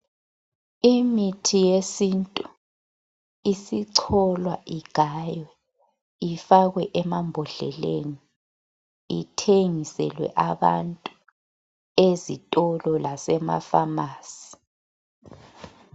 Imithi yesintu, isicholwa, igaywe. Ifakwe emambodleleni. Ithengiselwe abantu, ezitolo, lasemapharmacy.